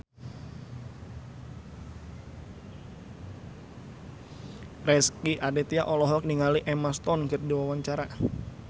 Rezky Aditya olohok ningali Emma Stone keur diwawancara